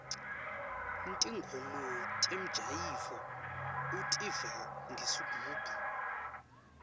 ntingoma temjayivo utiva ngesigubhu